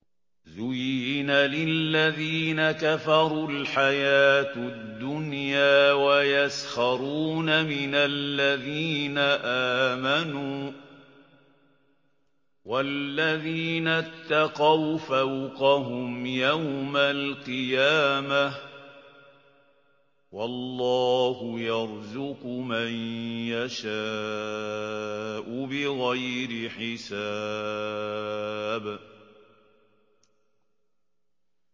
زُيِّنَ لِلَّذِينَ كَفَرُوا الْحَيَاةُ الدُّنْيَا وَيَسْخَرُونَ مِنَ الَّذِينَ آمَنُوا ۘ وَالَّذِينَ اتَّقَوْا فَوْقَهُمْ يَوْمَ الْقِيَامَةِ ۗ وَاللَّهُ يَرْزُقُ مَن يَشَاءُ بِغَيْرِ حِسَابٍ